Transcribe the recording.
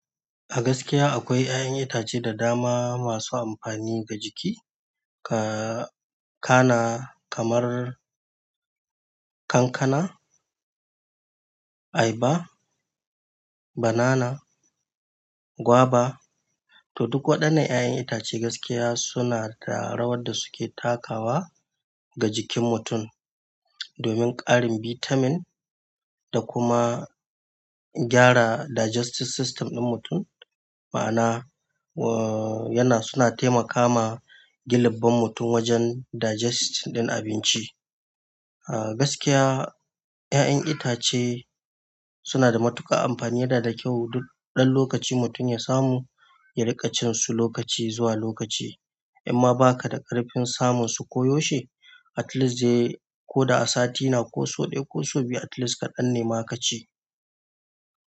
A gaskiya akwai ƴaƴan itace da dama masu amfani ga jiki. Ka-kana kamar kankana, ayaba, banana, gwaba to duk waɗannan ƴaƴan itace gaskiya suna da rawar da suke takawa. Ga jikin mutum domin ƙarin bitamin da kuma gyara digestive system ɗin mutum. Ma'ana yana, suna taimakama gina mutum wajen digesting ɗin abinci. A gaskiya, ƴaƴan itace suna da matuƙar amfani, yana da kyau duk ɗan lokaci mutum ya samu ya riƙa cin su lokaci zuwa lokaci. In ma ba ka da ƙarfin samun su koyaushe, at least dai ko da a sati na ko sau ɗaya ko sau biyu at least kaɗan nema ka ci.